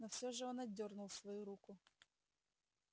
но всё же он отдёрнул свою руку